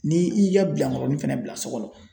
Ni i y'i ka bilankɔrɔnin fɛnɛ bila so kɔnɔ